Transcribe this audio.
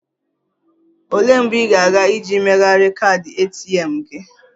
Olee mgbe ị ga-aga iji megharịa kaadị ATM gị?